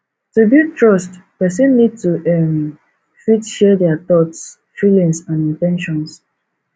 to build trust person need to um fit share their thoughts feelings and in ten tions